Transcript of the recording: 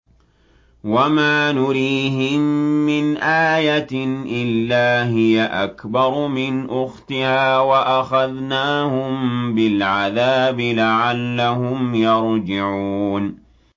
وَمَا نُرِيهِم مِّنْ آيَةٍ إِلَّا هِيَ أَكْبَرُ مِنْ أُخْتِهَا ۖ وَأَخَذْنَاهُم بِالْعَذَابِ لَعَلَّهُمْ يَرْجِعُونَ